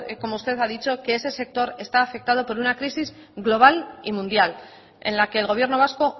como usted ha dicho que ese sector está afectado por una crisis global y mundial en la que el gobierno vasco